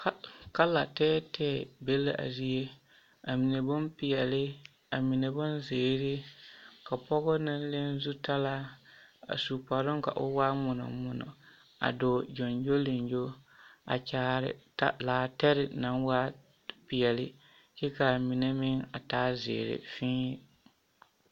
Kala tɛɛtɛɛ be la a zie, amine bompeɛle, amine bonzeere, ka pɔgɔ naŋ leŋ zutalaa a su kparoŋ ka o waa ŋmonɔ ŋmonɔ a dɔɔ gyoŋgyoliŋgyo a kyaare laatɛre naŋ waa peɛle kyɛ k'a mine meŋ a taa zeere fii.